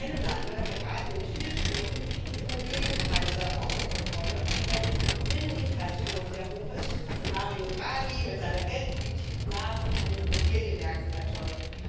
In meinem Land geraten in vielen Städten die Immobilienpreise außer Kontrolle, weil die EU Binnenmigration sehr hoch ist und Mario Draghi mit seiner Geldpolitik Blasen an den Immobilienmärkten erzeugt.